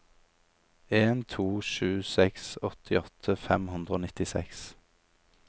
en to sju seks åttiåtte fem hundre og nittiseks